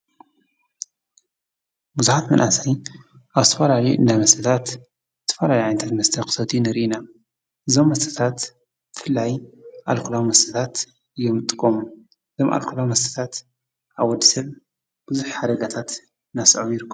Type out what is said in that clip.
ብዙሓት መናእሰይ ኣብ ዝተፈላለዩ መስተታት ዝተፈላለዩ መስተታት ንሪኢ ኢና ።እዞም መስተታት ብፍላይ ኣልኮላዊ መስተታት እዮም ዝጥቀሙ። ኣልኮላዊ መስተታት ኣብ ወዲ ሰብ ብዙሕ ሓደጋታት እንዳስዓቡ ይርከቡ።